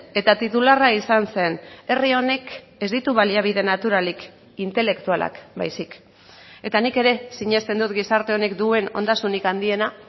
eta titularra izan zen herri honek ez ditu baliabide naturalik intelektualak baizik eta nik ere sinesten dut gizarte honek duen ondasunik handiena